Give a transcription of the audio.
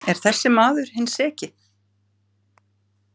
Er þessi maður hinn seki?